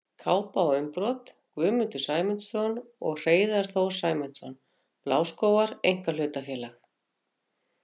Kápa og umbrot: Guðmundur Sæmundsson og Hreiðar Þór Sæmundsson, Bláskógar einkahlutafélag.